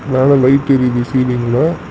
மேல லைட் எரியுது சீலிங்ல .